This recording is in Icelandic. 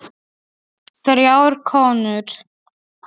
Þrjár konur